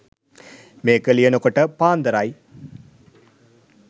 මේක ලියනකොට පාන්දර . යි.